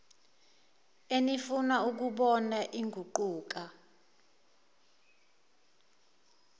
enifuna ukuyibona iguquka